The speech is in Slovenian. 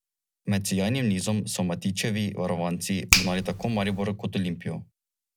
Med sijajnim nizom so Matićevi varovanci ugnali tako Maribor kot Olimpijo.